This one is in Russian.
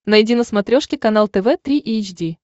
найди на смотрешке канал тв три эйч ди